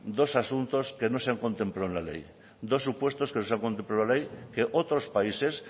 dos asuntos que no se han contemplado en la ley dos supuestos que no se han contemplado en la ley que otros países